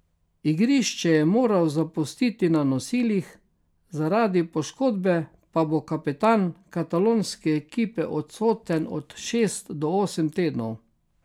Igrišče je moral zapustiti na nosilih, zaradi poškodbe pa bo kapetan katalonske ekipe odsoten od šest do osem tednov.